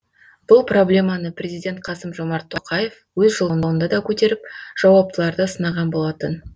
бұл проблеманы президент қасым жомарт тоқаев өз жолдауында да көтеріп жауаптыларды сынаған болатын